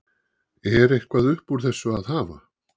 Er eitthvað upp úr þessu að hafa?